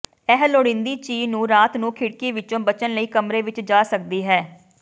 ਇਹ ਲੋੜੀਂਦੀ ਚੀ ਨੂੰ ਰਾਤ ਨੂੰ ਖਿੜਕੀ ਵਿੱਚੋਂ ਬਚਣ ਲਈ ਕਮਰੇ ਵਿੱਚ ਜਾ ਸਕਦੀ ਹੈ